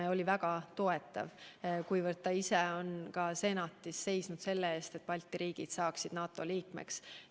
Ta oli väga toetav, kuna ta ise on kunagi Senatis seisnud selle eest, et Balti riigid saaksid NATO liikmeks.